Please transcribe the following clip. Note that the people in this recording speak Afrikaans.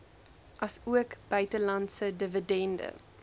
asook buitelandse dividende